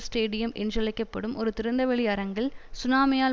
stadium என்றழைக்க படும் ஒரு திறந்தவெளி அரங்கில் சுனாமியால்